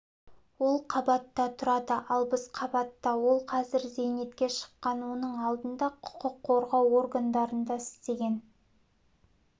ол қабатта тұрады ал біз қабатта ол қазір зейнетке шыққан оның алдында құқық қорғау органдарында істеген